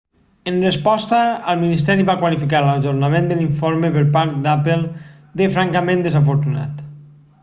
en resposta el ministeri va qualificar l'ajornament de l'informe per part d'apple de francament desafortunat